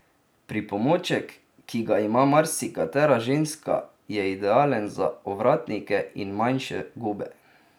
Pripomoček, ki ga ima marsikatera ženska je idealen za ovratnike in manjše gube.